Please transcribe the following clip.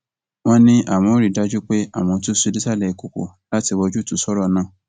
wọn ní àwọn ò rí i dájú pé àwọn túṣu désàlẹ ìkoko láti wá ojútùú sọrọ náà